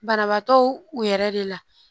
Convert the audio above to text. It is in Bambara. Banabaatɔw u yɛrɛ de la